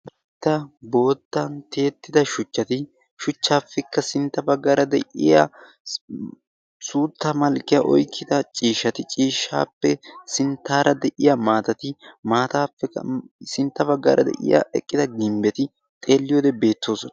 Karetta boottan tiyettida shuchchati shuchchaappekka sintta baggaara de7iya suutta malkkiya oykkida ciishshati ciishshaappe sinttaara de7iya maatatti maataykka sintta baggaara de7iya eqqida gimbbeti xeelliyoode beettoosona.